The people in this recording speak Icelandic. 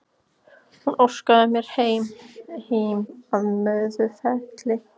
Hún óskaði sér heim, heim að Möðrufelli.